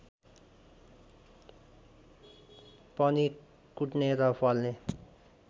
पनि कुट्ने र फल्ने